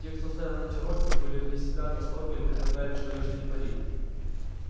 те кто ставил на чероки были вне себя от восторга и предлагали чудовищные пари